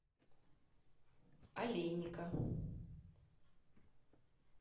олейника